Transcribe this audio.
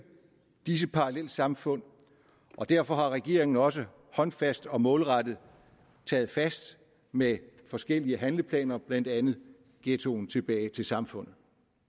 disse parallelsamfund og derfor har regeringen også håndfast og målrettet taget fat med forskellige handleplaner blandt andet ghettoen tilbage til samfundet